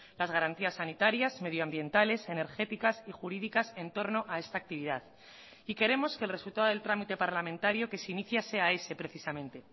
las garantías sanitarias medioambientales energéticas y jurídicas en torno a esta actividad y queremos que el resultado del trámite parlamentario que se inicia sea ese precisamente